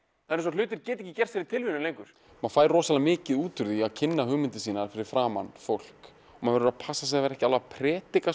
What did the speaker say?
það er eins og hlutir geti ekki gerst fyrir tilviljun lengur maður fær rosalega mikið út úr því að kynna hugmyndir sínar fyrir framan fólk maður verður að passa sig að vera ekki að predika